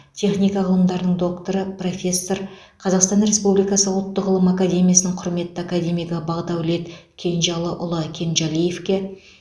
техника ғылымдарының докторы профессор қазақстан республикасы ұлттық ғылым академиясының құрметті академигі бақдәулет кенжалыұлы кенжалиевке